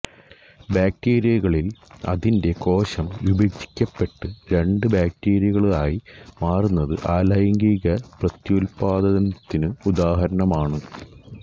ബാക്ടീരിയകളിൽ അതിന്റെ കോശം വിഭജിക്കപ്പെട്ട് രണ്ട് ബാക്ടീരിയകളായി മാറുന്നത് അലൈംഗിക പ്രത്യുൽപ്പാദനത്തിനു് ഉദാഹരണമാണു്